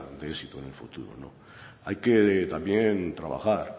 de éxito en el futuro no hay que también trabajar